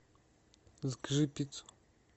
закажи пиццу